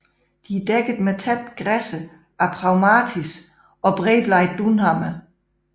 De er dækket med tætte græsser af Phragmites og bredbladet dunhammer